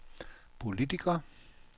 politiker